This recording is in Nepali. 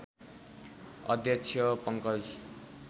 अध्यक्ष पंकज